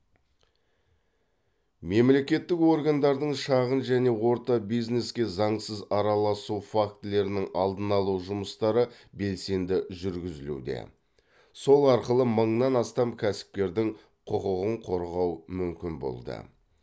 мемлекеттік органдардың шағын және орта бизнеске заңсыз араласу фактілерінің алдын алу жұмыстары белсенді жүргізілуде сол арқылы мыңнан астам кәсіпкердің құқығын қорғау мүмкін болды